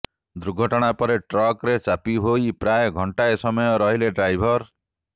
ଦୁର୍ଘଟଣା ପରେ ଟ୍ରକରେ ଚାପି ହୋଇ ପ୍ରାୟ ଘଣ୍ଟାଏ ସମୟ ରହିଲେ ଡ୍ରାଇଭର